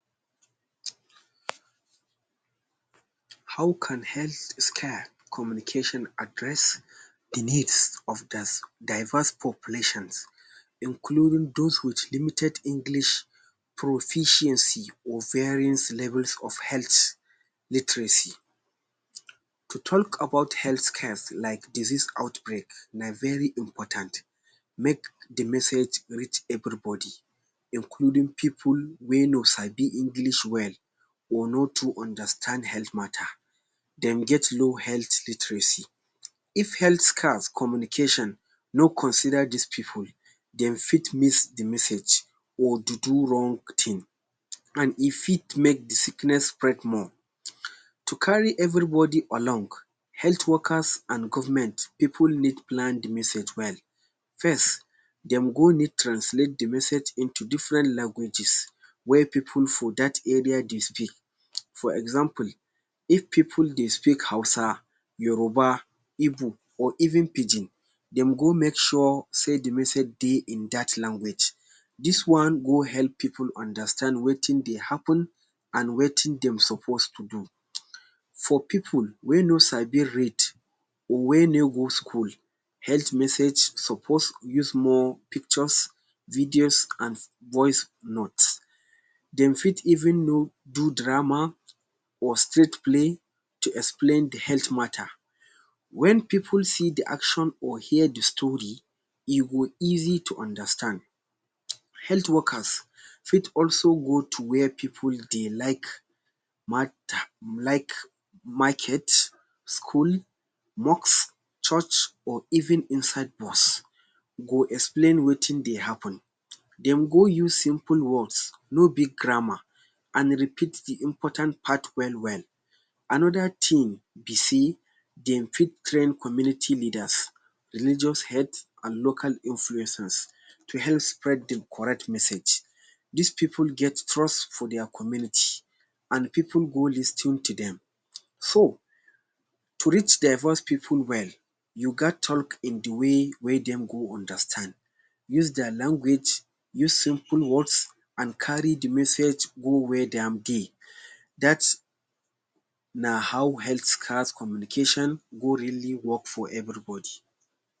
How can health scare communication address the needs of diverse populations including dos with limited English proficiency or varyings levels of health literacy. To talk about health scares like disease outbreak na very important make the message reach everybody including pipu wey no sabi English well or no too understand health matter. Dem get low health literacy. If health scares communication no consider dis pipu, dem fit miss the message or do do wrong tin, an if fot make the sickness spread more. To carry everybody along, health workers an government pipu need plan the message well. First, dem go need translate the message into different languages wey pipu for dat area dey speak. For example, if pipu dey speak Hausa, Yoruba, Igbo, or even Pidgin, dem go make sure sey the message dey in dat language. Dis one go help pipu understand wetin dey happen an wetin dem suppose to do. For pipu wey no sabi read or wey no go school, health message suppose use more pictures, videos, an voice note. Dem fit even know do drama or street play to explain the health matter. Wen pipu see the action or hear the story, e go easy to understand. Health workers fit also go to where pipu dey like like market, school, mosque, church or even inside bus go explain wetin dey happen. Dem go use simple words, no big grammar, an repeat the important part well-well. Another tin be sey dem fit train community leaders, religious heads, an local influencers to help spread the correct message. Dis pipu get trust for dia community an pipu go lis ten to dem. So, to reach diverse pipu well, you gat talk in the way wey dem go understand. Use dia language, use simple words, an carry the message go where dem be. Dat na how health scares communication go really work for everybody.